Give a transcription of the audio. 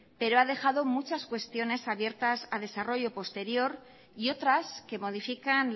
pero ha dejado muchas cuestiones abiertas a desarrollo posterior y otras que modifican